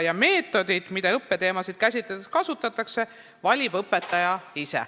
Ja meetodid, mida õppeteemasid käsitledes kasutatakse, valib õpetaja ise.